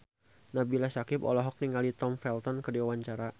Nabila Syakieb olohok ningali Tom Felton keur diwawancara